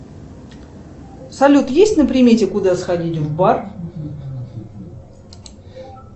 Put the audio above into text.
салют есть на примете куда сходить в бар